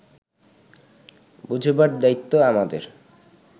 বোঝাবার দায়িত্ব আমাদের